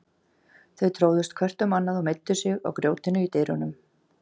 Þau tróðust hvert um annað og meiddu sig á grjótinu í dyrunum.